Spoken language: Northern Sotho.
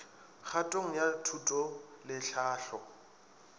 kgatong ya thuto le tlhahlo